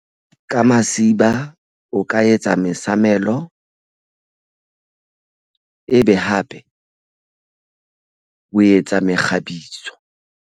Ka masiba o ka etsa mesamelo ebe hape o etsa mekgabiso.